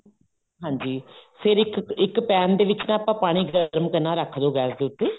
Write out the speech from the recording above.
ਹਾਂਜੀ ਫ਼ੇਰ ਇੱਕ pan ਦੇ ਵਿੱਚ ਨਾ ਆਪਾਂ ਪਾਣੀ ਗਰਮ ਕਰਨਾ ਰੱਖ ਦੋ ਗੈਸ ਦੇ ਊਤੇ